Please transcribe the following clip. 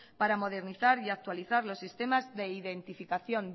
para modernizar y actualizar los sistemas de identificación